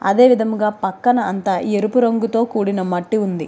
అంటే లోపలికి వెళ్ళే స్థలం అని కూడా రాసి ఉంది.